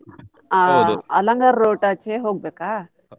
ಆಹ್ Alangar route ಆಚೆ ಹೋಗ್ಬೇಕಾ?